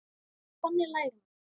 Þannig lærir maður.